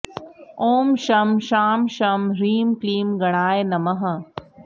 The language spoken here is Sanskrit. ॐ शं शां षं ह्रीं क्लीं गणाय नमः